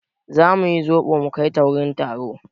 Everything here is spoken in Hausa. Za mu yi zoɓo mu kai ta wurin taro.